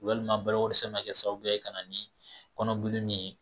Walima balo ko dɛsɛ bi na kɛ sababuya ye ka na ni kɔnɔbilen min ye.